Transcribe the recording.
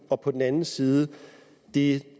og på den anden side det